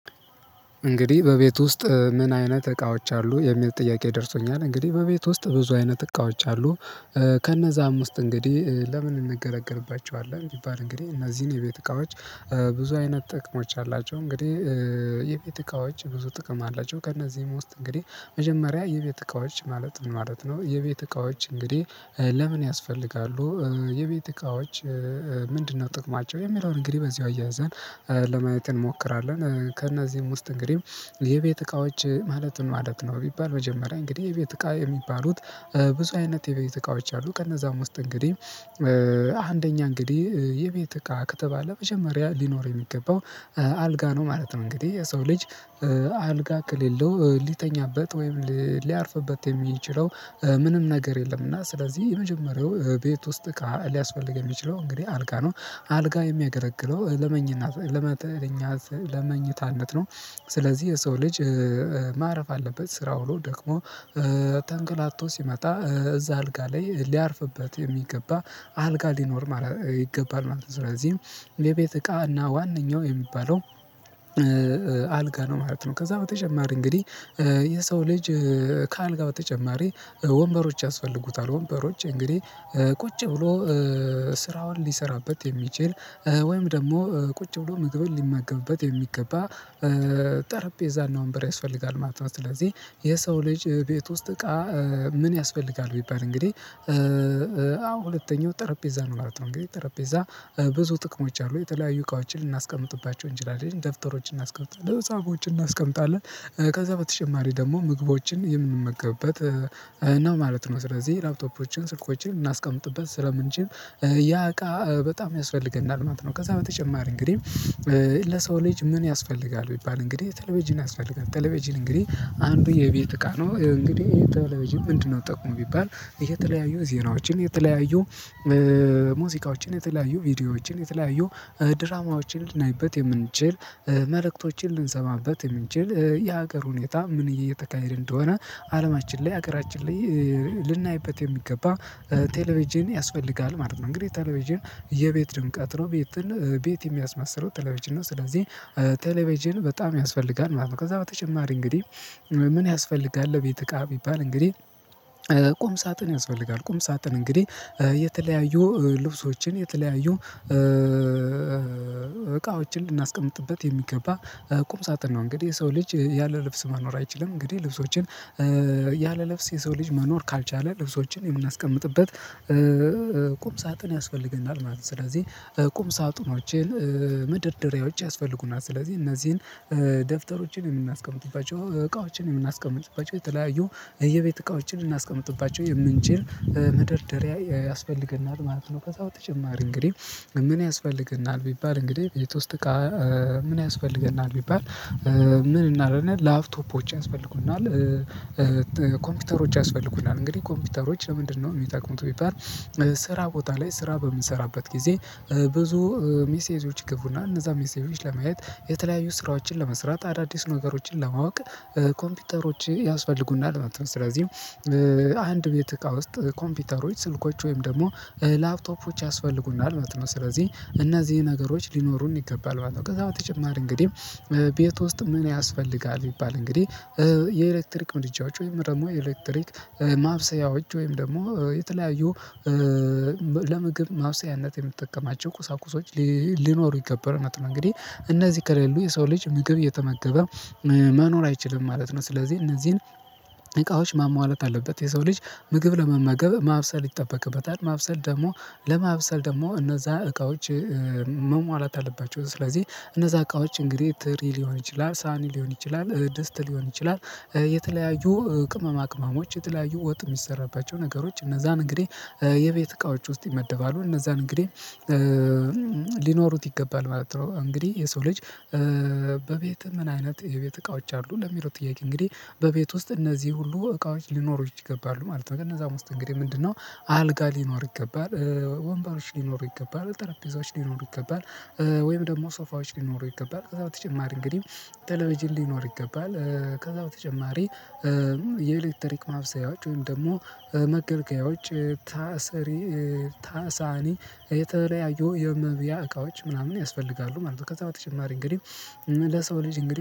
እንግዲህ በቤት ውስጥ ምን አይነት እቃዎች አሉ የሚል ጥያቄ ደርሶኛል እንግዲህ በቤት ውስጥ ብዙ አይነት እቃዎች አሉ። ከነዛም ውስጥ እንግዲህ ለምን እንገለገልባቸዋለን ቢባል እንግዲህ እነዚህ የቤት እቃዎች ብዙ አይነት ጥቅሞች አላቸው እንግዲህ የቤት እቃዎች ብዙ ጥቅም አላቸው ከእነዚህም ውስጥ እንግዲህ መጀመሪያ የቤት እቃዎች ማለት ምን ማለት ነው የቤት እቃዎች እንግዲህ ለምን ያስፈልጋሉ? የቤት እቃዎች ምንድነው ጥቅማቸው የሚለውን እንግዲህ በዚሁ አያይዘን ለማየት እንሞክራለን። ከእነዚህም ውስጥ እንግዲህ የቤት እቃዎች ማለት ምን ማለት ነው ቢባል መጀመሪያ እንግዲህ የቤት እቃ የሚባሉት ብዙ አይነት የቤት እቃዎች አሉ ከእነዛም ውስጥ እንግዲህ አንደኛ እንግዲህ የቤት እቃ ከተባለ መጀመሪያ ሊኖር የሚገባው አልጋ ነው። ማለት ነው እንግዲህ የሰው ልጅ አ አልጋ ከሌለው ልተኛበት ወይም ሊያርፍበት የሚችለው ምንም ነገር የለም። እና ስለዚህ የመጀመሪያው ቤት ውስጥ ሊያስፈልግ የሚችለው እንግዲህ አልጋ ነው አልጋ የሚያገለግለው ለመኝነት ለመኝታነት ነው። ስለዚህ የሰው ልጅ ማረፍ አለበት ስራ ውሎ ደክሞ ተንከራቶ ሲመጣ እዛ አልጋ ላይ ሊያርፍበት የሚገባ አልጋ ሊኖር ይገባል ማለት ነው ስለዚህም የቤት እቃና ዋናው የሚባለው አልጋ ነው ማለት ነው። ከዛ በተጨማሪ እንግዲህ የሰው ልጅ ከአልጋ በተጨማሪ ወንበሮች ያስፈልጉታል ወንበሮች እንግዲህ ቁጭ ብሎ ስራውን ሊሰራበት የሚችል ወይም ደግሞ ቁጭ ብሎ ምግብን ሊመገብበት የሚገባ ጠረጴዛና ወንበር ያስፈልጋል ማለት ነው። ስለዚህ የሰው ልጅ ቤት ውስጥ እቃ ምን ያስፈልጋል ቢባል እንግዲህ አዎ ሁለተኛው ጠረጴዛ ነው ማለት ነው። እንግዲህ ጠረጴዛ ብዙ ጥቅሞች አሉ የተለያዩ እቃዎችን ልናስቀምጥባቸው እንችላለን ደብተሮችን እናስቀምጣለን መፅሃፎችን እናስቀምጣለን ከዛ በተጨማሪ ደግሞ ምግቦችን የምንመገብበት ነው ማለት ነው ስለዚህ ላፕቶፖችን ስልኮችን ልናስቀምጥበት ስለምንችል ያ እቃ በጣም ያስፈልገናል ማለት ነው። ከዛ በተጨማሪ እንግዲህ ለሰው ልጅ ምን ያስፈልጋል ቢባል እንግዲህ ቴሌቬዥን ያስፈልጋል ቴሌቬዥን እንግዲህ አንዱ የቤት እቃ ነው እንግዲህ ቴሌቬዥን ምንድነው ጥቅሙ ቢባል? የተለያዩ ዜናዎችን የተለያዩ ሙዚቃዎችን የተለያዩ ቪዲዮዎችን የተለያዩ ድራማዎችን ልናይበት የምንችል መልእክቶችን ልንሰማበት የምንችል የሀገር ሁኔታ ምን እየተካሄድን እንደሆነ አለማችን ላይ ሀገራችን ላይ ልናይበት የሚገባ ቴሌቬዥን ያስፈልጋል ማለት ነው። እንግዲህ ቴሌቬዥን የቤት ድምቀት ነው ቤትን ቤት የሚያስመስለው ቴሌቬጅን ነው ስለዚህ ቴሌቬጅን በጣም ያስፈልጋል ማለት ነው። ከዛ በተጨማሪ እንግዲህ ምን ያስፈልጋል የቤት እቃ ቢባል እንግዲህ ቁም ሳጥን ያስፈልጋል ቁም ሳጥን እንግዲህ የተለያዩ ልብሶችን የተለያዩ እቃዎችን ልናስቀምጥበት የሚገባ ቁም ሳጥን ነው። እንግዲህ የሰው ልጅ ያለ ልብስ መኖር አይችልም እንግዲህ ልብሶችን የሰው ልጅ መኖር ካልቻለ ልብሶችን የምናስቀምጥበት ሳጥን ያስፈልገናል ማለት ነው። ስለዚህ ቁም ሳጥኖችን መደርደሪያዎች ያስፈልጉናል ስለዚህ እነዚህን ደብተሮችን የምናስቀምጥባቸው እቃዎችን የምናስቀምጥባቸው የተለያዩ የቤት እቃዎችን ልናስቀምጥባቸው የምንችል መደርደረያ ያስፈልገናል ማለት ነው። ከዛ በተጭማር እንግዲህ ምን ያስፈልገናል ቢባል እንግዲህ ቤት ውስጥ ምን ያስፈልገናል ቢባል ምን እንላለን ላፕቶፖች ያስፈልጉናል። ኮምፒውተሮች ያስፈልጉናል እንግዲህ ኮምፒውተሮች ለምንድነው የሚጠቁሙት ቢባል ስራ ቦታ ላይ ስራ በምንሰራበት ጊዜ ብዙ ሜሴጆች ይገቡልናል እነዛን ሜሴጆች ለማየት የተለያዩ ስራዎችን ለመስራት አዳዲስ ነገሮችን ለማወቅ ኮምፒውተሮች ያስፈልጉናል ማለት ነው። ስለዚህ አንድ ቤት እቃ ውስጥ ኮምፒውተሮች ስልኮች ወይም ደግሞ ላፕቶፖች ያስፈልጉናል ማለት ነው። ስለዚህ እነዚህ ነገሮች ሊኖሩን ይገባል ከዛ በተጨማሪ እንግዲህ ቤት ውስጥ ምን ያስፈልጋል ቢባል እንግዲህ የኤሌክትሪክ ምድጃዎች ወይም ደግሞ የኤሌክትሪክ ማብሰያዎች ወይም ደግሞ የተለያዩ ለማብሰያነት የምንጠቀማቸው ቁሳቁሶች ሊኖሩ ይገባሉ ማለት ነው። እንግዲህ እነዚህ ከሌሉ የሰው ልጅ ምግብ እየተመገበ መኖር አይችልም ማለት ነው። ስለዚህ እነዚህን እቃዎች ማሟላት አለበት የሰው ልጅ ምግብ ለመመገብ ማብሰል ይጠበቅበታል ማብሰል ደግሞ ለማብሰል ደግሞ እነዛ እቃዎች መሟላት አለባቸው ስለዚህ እነዛ አቃዎች እንግዲህ ትሪ ሊሆን ይችላል ሳሀ ሊሆን ይችላል ድስት ሊሆን ይችላል የተለያዩ ቅመማ ቅመሞች የተለያዩ ወጥ የሚሰራባቸው ነገሮች እነዛም እንግዲህ የቤት እቃዎች ውስጥ ይመደባሉ እነዛ እንግዲህ ሊኖሩት ይገባል ማለት ነው። እንግዲህ የሰው ልጅ በቤት ምን አይነት የቤት እቃዎች አሉ ለሚለው ጥያቄ እንግዲህ በቤት ውስጥ እነዚህ ሁሉ እቃዎች ሊኖሩት ይገባሉ ማለት ነው። ግን እነዛም ውስጥ እንግዲህ ምንድነው? አልጋ ሊኖር ይገባል ወንባሮች ሊኖሩ ይገባል ጠረጴዛዎች ሊኖሩ ይገባል ወይም ደግሞ ሶፋዎች ሊኖሩ ይገባል ከዛ በተጨማሪ እንግዲህ ቴሌቬዥን እንዲኖር ይገባል ከዛ በተጨማሪ የኤሌክትሪክ ማብሰያዎች ወይም ደግሞ መገልገያዎች ትሪ ሳህን የተለያየው የመብያ እቃዎች ምናምን ያስፈልጋሉ ማለት ነው። ከዛ በተጨማሪ እንግዲህ ለሰው ልጅ እንግዲህ